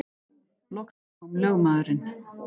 Loksins kom lögmaðurinn.